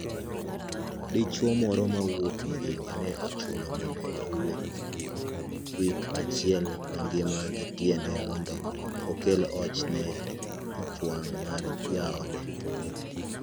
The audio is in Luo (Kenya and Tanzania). Dichwo moro ma wuok Migingo ne ochuno mondo owuoth wik achiel mangima gi tiende mondo okel hoch ne ichwang` mar jaode.